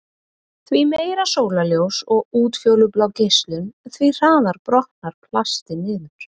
Því meira sólarljós og útfjólublá geislun, því hraðar brotnar plastið niður.